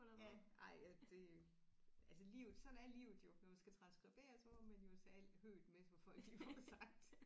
Ja ej ja det altså livet sådan er livet jo når man skal transskribere så må man jo tage alt høet med som folk de får sagt